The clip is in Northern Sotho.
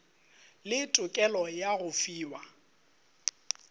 le tokelo ya go fiwa